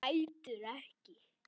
Grætur ekki.